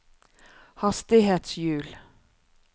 hastighetshjul